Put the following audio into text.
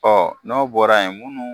Ɔ n'o bɔra yen munnu.